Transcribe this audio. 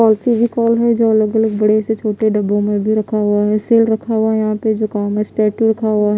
All सी भी कॉल है जो अलग अलग बड़े से छोटे डब्बों में भी रखा हुआ है सील रखा हुआ है यहाँ पे जो कॉमेस टैटू रखा हुआ है ।